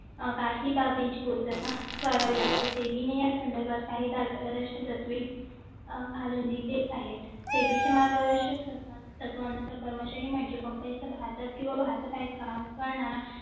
काही बाबींची पूर्तता करावी लागते संदर्भात काही भाग प्रदर्शन तत्वे घालून दिले आहेत मार्गदर्शक तत्वांचा कर्मचारी म्हणजे कंपनीचा भारतात किंवा भारत बाहेर काम करणारा